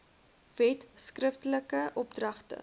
wet skriftelike opdragte